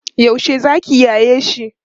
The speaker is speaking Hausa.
yaushe zaki yaye shi?